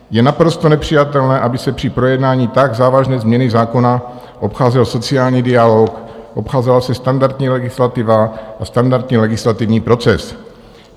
Je naprosto nepřijatelné, aby se při projednání tak závažné změny zákona obcházel sociální dialog, obcházela se standardní legislativa a standardní legislativní proces.